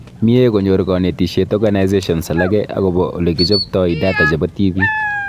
Mie konyor konetishet organisations alake akobo olekichoptoi data chebo tibiik